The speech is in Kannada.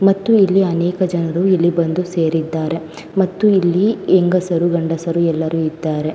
ಮತ್ತು ಇಲಿ ಅನೇಕ ಜನರು ಬಂದು ಇಲ್ಲಿ ಸೇರಿದ್ದಾರೆ ಮತ್ತು ಇಲ್ಲಿ ಹೆಂಗಸರು ಗಂಡಸರು ಎಲ್ಲ ಇದ್ದಾರೆ.